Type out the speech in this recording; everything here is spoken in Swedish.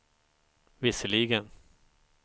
visserligen